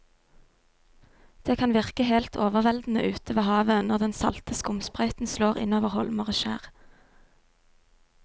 Det kan virke helt overveldende ute ved havet når den salte skumsprøyten slår innover holmer og skjær.